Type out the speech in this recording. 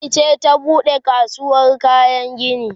gwamnati ce ta buɗe kasuwar kayan gini